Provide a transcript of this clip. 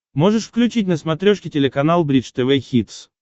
можешь включить на смотрешке телеканал бридж тв хитс